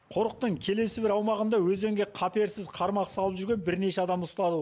қорықтың келесі бір аумағында өзенге қаперсіз қармақ салып жүрген бірнеше адам ұсталуы